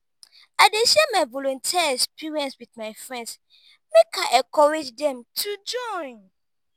i dey share my volunteer experience wit my friends make i encourage dem to join.